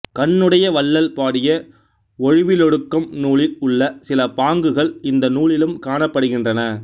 கண்ணுடைய வள்ளல் பாடிய ஒழிவிலொடுக்கம் நூலில் உள்ள சில பாங்குகள் இந்த நூலிலும் காணப்படுகின்றன